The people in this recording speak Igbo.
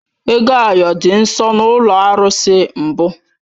Ego ayo dị nsọ na ụlọ arụsị mbụ